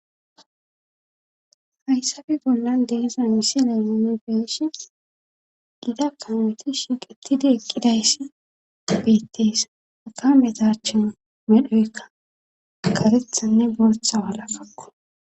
hayssappe bollan de'za misile nun be'ishi gita kameti shiqetidi eqqidayssi abettees aka metachin medhoykka katethanne bootha walakakko